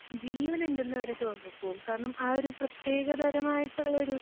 ജീവനുണ്ടെന്നുവരെ തോന്നിപ്പോകും. കാരണം, ആ ഒരു പ്രത്യേകതരമായിട്ടുള്ളൊരു